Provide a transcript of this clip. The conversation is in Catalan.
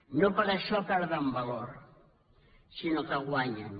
no per això perden valor sinó que en guanyen